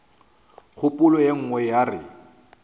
kgopolo ye nngwe ya re